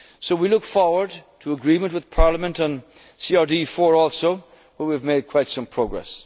of a banking union. We look forward to agreement with Parliament on CRD IV also, where we have